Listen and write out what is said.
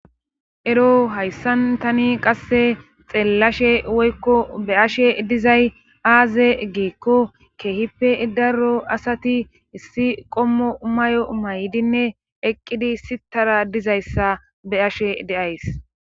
Ero hayssan tani qasse xeellashe woykko be ashe dizay aaze geekko keehippe daro asati issi qommo mayo maydinne eqqidi sitara dizayssa be ashe deays